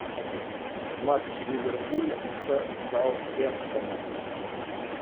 матч ливерпуль с саутгемптоном